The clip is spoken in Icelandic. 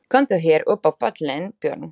Komdu hér upp á pallinn, Björn!